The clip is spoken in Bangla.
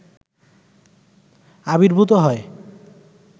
আবির্ভূত হয়